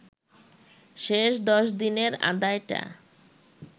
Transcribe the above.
শেষ ১০ দিনের আদায়টা